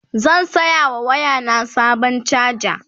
zan saya wa waya na Sabon chaja